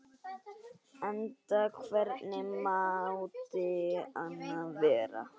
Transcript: Enda hvernig mátti annað vera?